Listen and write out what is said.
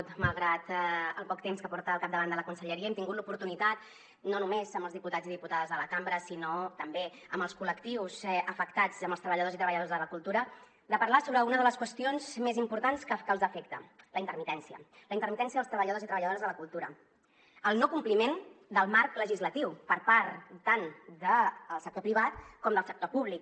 malgrat el poc temps que porta al capdavant de la conselleria hem tingut l’oportunitat no només amb els diputats i diputades de la cambra sinó també amb els col·lectius afectats amb els treballadors i treballadores de la cultura de parlar sobre una de les qüestions més importants que els afecta la intermitència dels treballadors i treballadores de la cultura el no compliment del marc legislatiu per part tant del sector privat com del sector públic